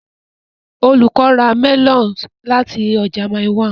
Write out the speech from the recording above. Olùkọ́ ra melons láti ọjà Mile 1.